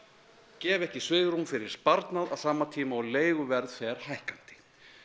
gefa ekki svigrúm fyrir sparnað á sama tíma og leiguverð fer hækkandi